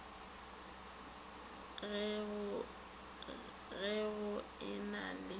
ge go e na le